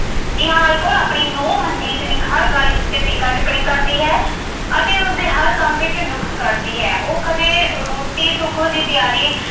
ਨਿਹਾਲ ਕੌਰ ਆਪਣੀ ਨੂੰਹ ਮਨਜੀਤ ਦੀ ਹਰ ਗੱਲ ਉੱਤੇ ਟੀਕਾ-ਟਿੱਪਣੀ ਕਰਦੀ ਹੈ ਅਤੇ ਉਸਦੇ ਹਰ ਕੰਮ ਵਿੱਚ ਨੁਕਸ ਕੱਢਦੀ ਹੈ। ਉਹ ਕਦੇ ਰੋਟੀ-ਟੁੱਕ ਦੀ ਤਿਆਰੀ